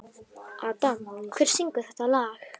Adam, hver syngur þetta lag?